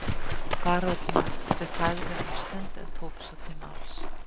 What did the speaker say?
Baróninn þagði um stund en tók svo til máls